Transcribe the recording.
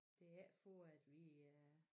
Det er ikke for at vi øh